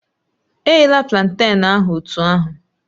Eghela planten ahụ otú ahụ